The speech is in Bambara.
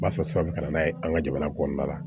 U b'a fɔ san bɛ ka na n'a ye an ka jamana kɔnɔna la